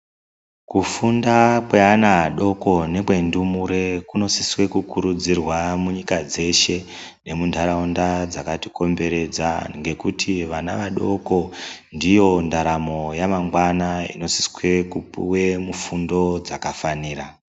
Kufunda kwe ana adoko nekwe ndumure kuno siswe ku kurudzirwa mu nyika dzeshe nemu ndaraunda dzakati komberedza ngekuti vana vadoko ndivo ndaramo ya mangwana ino siswe kupuwe mufundo dzaka fanira.